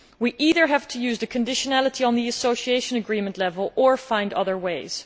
We either have to use the conditionality at Association Agreement level or find other ways.